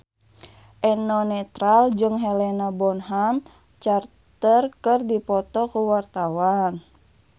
Eno Netral jeung Helena Bonham Carter keur dipoto ku wartawan